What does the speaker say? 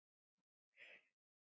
En svo gaus reiðin upp.